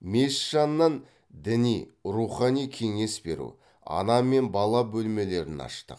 мешіт жанынан діни рухани кеңес беру ана мен бала бөлмелерін аштық